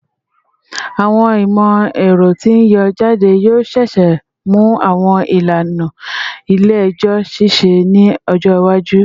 Awọn imọ-ẹrọ ti n yọ jade yoo ṣee ṣe mu awọn ilana ile-ẹjọ ṣiṣẹ ni ọjọ iwaju